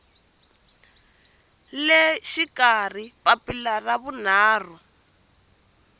le xikarhi papila ra vunharhu